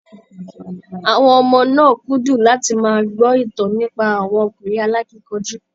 Àwọnn ọmọ náà kúndùn láti máa gbọ́ ìtàn nípa àwọn ọkùnrin alákínkanjú.